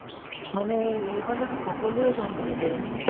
মানে এই~ এইফালতো সকলোয়ে কাম কৰে ছাগে না